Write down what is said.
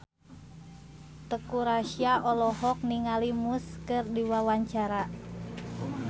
Teuku Rassya olohok ningali Muse keur diwawancara